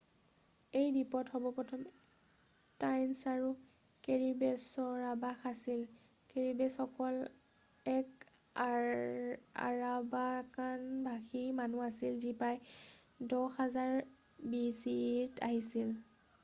এই দ্বীপত সৰ্বপ্ৰথমে টাইনছ আৰু কেৰিবেছৰ আৱাস আছিল৷ কেৰিবেছসকল এক আৰাৱাকান-ভাষী মানুহ আছিল যি প্ৰায় 10,000 bce ত আহিছিল৷